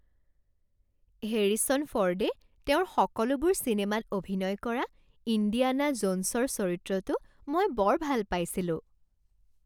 Harrison ফৰ্ডে তেওঁৰ সকলোবোৰ চিনেমাত অভিনয় কৰা ইণ্ডিয়ানা জোনছৰ চৰিত্ৰটো মই বৰ ভাল পাইছিলোঁ।